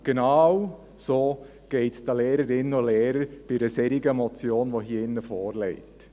Und genau so geht es den Lehrerinnen und Lehrern bei einer solchen Motion, die hier vorliegt.